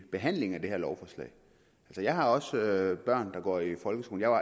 behandlingen af det her lovforslag jeg har også børn der går i folkeskolen og